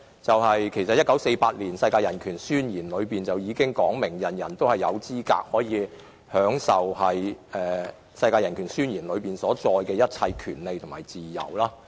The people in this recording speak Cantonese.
在1948年通過的《世界人權宣言》已訂明，人人有資格享有當中所載的一切權利和自由。